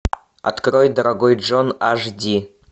открой дорогой джон аш ди